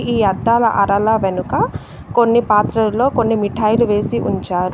ఈ అద్దాల అరల వెనుక కొన్ని పాత్రలలో కొన్ని మిఠాయిలు వేసి ఉంచారు.